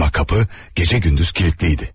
Ama kapı gece gündüz kilitliydi.